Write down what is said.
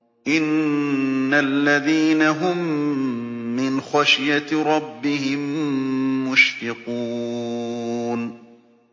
إِنَّ الَّذِينَ هُم مِّنْ خَشْيَةِ رَبِّهِم مُّشْفِقُونَ